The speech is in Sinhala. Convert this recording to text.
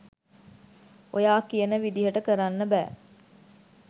ඔයා කියන විදිහට කරන්න බෑ.